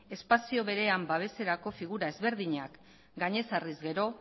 espazio berean babeserako figura ezberdinak gainez jarriz gero